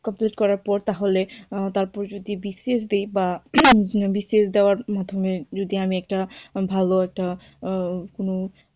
Complete করার পর তাহলে তারপর যদি বিশেষ দিই বা বিশেষ দেওয়ার মাধ্যমে যদি আমি একটা ভালো একটা উম